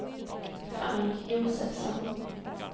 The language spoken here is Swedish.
Frank Josefsson